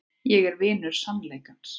Ég er vinur sannleikans.